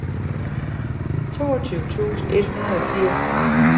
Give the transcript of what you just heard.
toogtyve tusind et hundrede og firs